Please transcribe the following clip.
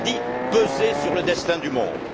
Vous avez dit Peser sur le destin du monde.